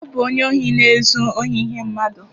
Ọ bụ onye ohi na-ezu ohi ihe mmadụ